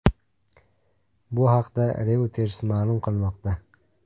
Bu haqda Reuters ma’lum qilmoqda .